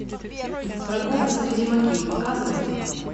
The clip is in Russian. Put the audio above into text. прогулка среди могил показывай